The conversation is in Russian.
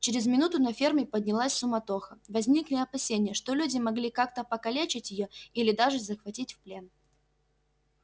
через минуту на ферме поднялась суматоха возникли опасения что люди могли как-то покалечить её или даже захватить в плен